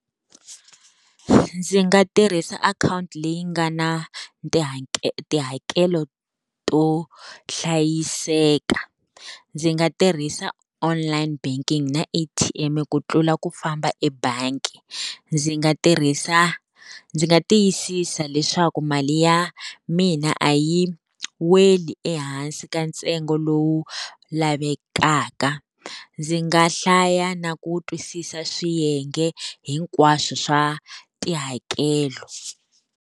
Ndzi nga tirhisa akhawunti leyi nga na tihakelo to hlayiseka. Ndzi nga tirhisa online banking na A_T_M ku tlula ku famba ebangi. Ndzi nga tirhisa, ndzi nga tiyisisa leswaku mali ya mina a yi weli ehansi ka ntsengo lowu lavekaka. Ndzi nga hlaya na ku twisisa swiyenge hinkwaswo swa tihakelo.